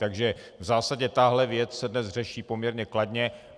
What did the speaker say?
Takže v zásadě tahle věc se dnes řeší poměrně kladně.